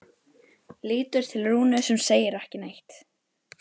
Lítur til Rúnu sem segir ekki neitt.